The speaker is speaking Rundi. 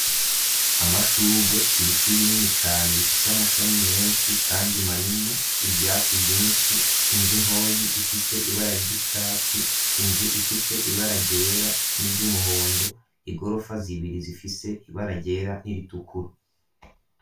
Amashurwe, ibiti binini cane bifise amashami menshi kandi manini. Ivyatsi vyinshi, inzu ntoyi ifise ibara ry'icatsi. Inzu ifise ibara ryera n'iry'umuhondo. Igorofa z'ibiri zifise ibara ryera n'iritukura.